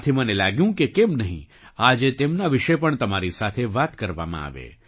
આથી મને લાગ્યું કે કેમ નહીં આજે તેમના વિશે પણ તમારી સાથે વાત કરવામાં આવે